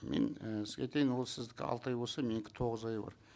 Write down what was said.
мен ііі сізге айтайын ол сіздікі алты ай болса менікі тоғыз айы бар